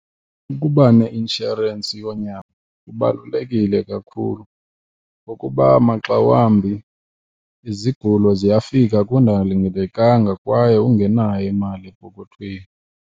Ukuba neinshorensi yonyango kubalulekile kakhulu ngokuba maxa wambi izigulo ziyafika kungalindelekanga kwaye ungenayo imali epokothweni.